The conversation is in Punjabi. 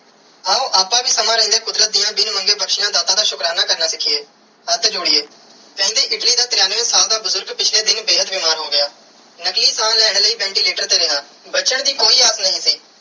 ਆਓ ਆਪ ਵੀ ਸਮੇ ਰੈਂਡੀਆ ਕੁਦਰਤ ਦੀਆ ਬਿਨ ਮੰਗੇ ਬਖਸ਼ਿਆ ਦਾਤਾ ਦਾ ਸਿਖੀਏ ਹੱਥ ਜੋੜੀਏ ਕੈਂਦੀ ਇਟਲੀ ਦਾ ਤ੍ਰਿਣਵੇ ਸਾਲ ਦਾ ਬੁਜ਼ਰਗ ਪਿਛਲੇ ਦਿਨ ਬੇਹੱਦ ਬਿਮਾਰ ਹੋ ਗਿਆ ਨਕਲੀ ਸਾਹ ਲੈਣ ਲਾਇ ventilator ਤੇ ਰਿਆ ਬਚਨ ਦੀ ਕੋਈ ਆਗਿਆ ਨਾਈ ਸੀ.